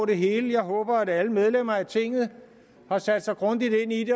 det hele jeg håber at alle medlemmer af tinget har sat sig grundigt ind i